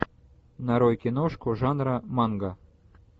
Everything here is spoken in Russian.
нарой киношку жанра манга